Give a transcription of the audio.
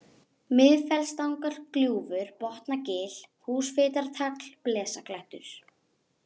Miðfellstangagljúfur, Botnagil, Húsfitartagl, Blesaklettur